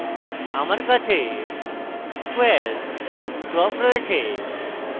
আমার কাছে square crop রয়েছে